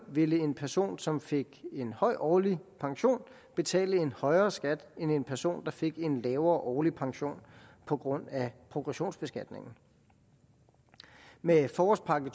ville en person som fik en høj årlig pension betale en højere skat end en person der fik en lavere årlig pension på grund af progressionsbeskatningen med forårspakke